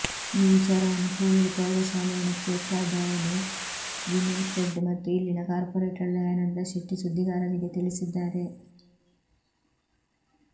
ಈ ವಿಚಾರವನ್ನು ಕೂಳೂರು ಪ್ರೌಢಶಾಲೆಯ ಮುಖ್ಯೋಪಾಧ್ಯಾಯಿನಿ ವಿನಿ ಫ್ರೆಡ್ ಮತ್ತು ಇಲ್ಲಿನ ಕಾರ್ಪೊರೇಟರ್ ದಯಾನಂದ ಶೆಟ್ಟಿ ಸುದ್ದಿಗಾರರಿಗೆ ತಿಳಿಸಿದ್ದಾರೆ